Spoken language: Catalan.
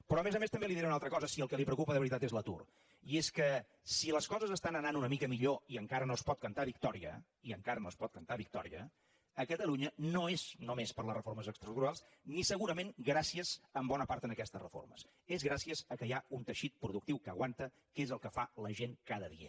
però a més a més també li diré una altra cosa si el que la preocupa de veritat és l’atur i és que si les coses estan anant una mica millor i encara no es pot cantar victòria i encara no es pot cantar victòria a catalunya no és només per les reformes estructurals ni segurament gràcies en bona part a aquestes reformes és gràcies al fet que hi ha un teixit productiu que aguanta que és el que fa la gent cada dia